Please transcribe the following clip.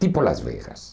Tipo Las Vegas.